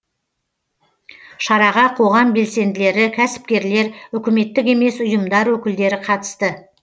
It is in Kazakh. шараға қоғам белсенділері кәсіпкерлер үкіметтік емес ұйым өкілдері қатысты